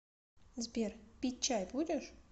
сбер пить чай будешь